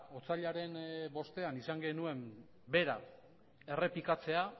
otsailaren bostean izan genuen bera errepikatzea